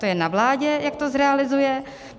To je na vládě, jak to zrealizuje.